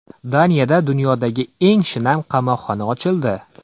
Daniyada dunyodagi eng shinam qamoqxona ochildi.